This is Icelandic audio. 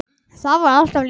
Það var alltaf létt yfir.